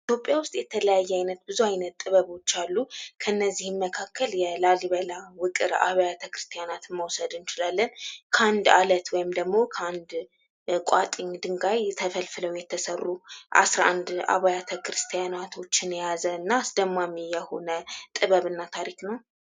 ኢትዮጵያ ውስጥ የተለያየ አይነት ብዙ አይነት ጥበቦች አሉ ከነዚህም መካከል የላሊበላ ውቅር አብያተ ክርስትና መውሰድ እንችላለን ከአንድ አለት ወይም ደግሞ ከአንድ ቋጥኚ ድንጋይ ተፈልፍለው የተሰሩ 11 አብያተ ክርስቲያናት የያዘና አስደማሚ የሆነ ጥበብና ታሪክ ነው።